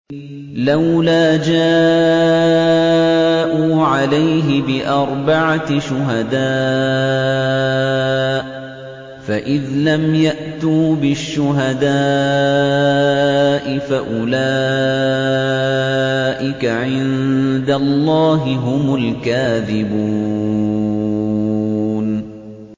لَّوْلَا جَاءُوا عَلَيْهِ بِأَرْبَعَةِ شُهَدَاءَ ۚ فَإِذْ لَمْ يَأْتُوا بِالشُّهَدَاءِ فَأُولَٰئِكَ عِندَ اللَّهِ هُمُ الْكَاذِبُونَ